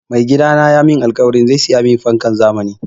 Mai gidana ya mun alkawari zai saya mun fankan zamani